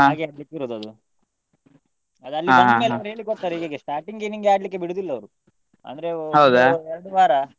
ಹಾಗೆ ಆಡ್ಲಿಕ್ಕೆ ಇರೋದು ಅದು ಅದು ಅಲ್ಲಿ ಬಂದ್ಮೇಲೆ ಅವರು ಹೇಳಿ ಕೊಡ್ತಾರೆ starting ಗೆ ನಿಂಗೆ ಆಡ್ಲಿಕ್ಕೆ ಬಿಡುದಿಲ್ಲ ಅವ್ರು ಅಂದ್ರೆ ಒಂದು ಎರಡು ವಾರ.